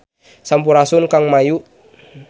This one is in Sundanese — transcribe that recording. Sampurasun Kang Mayu